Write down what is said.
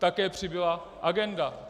Také přibyla agenda.